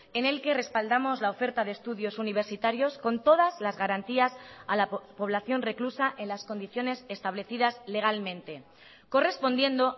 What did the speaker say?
en el que respaldamos la oferta de estudios universitarios con todas las garantías a la población reclusa en las condiciones establecidas legalmente correspondiendo